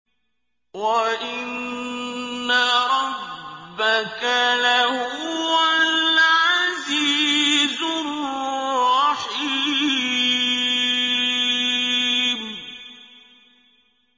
وَإِنَّ رَبَّكَ لَهُوَ الْعَزِيزُ الرَّحِيمُ